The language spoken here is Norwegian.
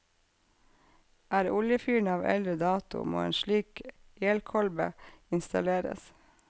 Er oljefyren av eldre dato, må en slik elkolbe installeres.